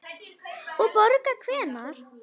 Og borga hvenær?